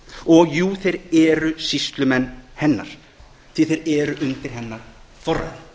og jú þeir eru sýslumenn hennar því að þeir eru undir hennar forræði